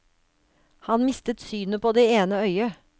Han mistet synet på det ene øyet.